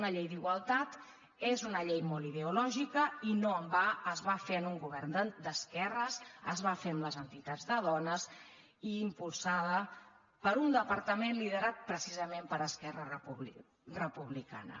una llei d’igualtat és una llei molt ideològica i no en va es va fer en un govern d’esquerres es va fer amb les entitats de dones i impulsada per un departament liderat precisament per esquerra republicana